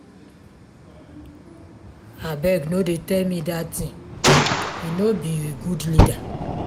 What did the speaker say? abeg no dey tell me dat thing he no be good leader.